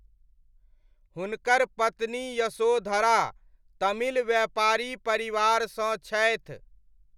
हुनकर पत्नी यशोधरा तमिल व्यापारी परिवारसँ छथि।